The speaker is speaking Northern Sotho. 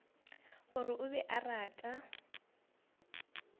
gore o be a rata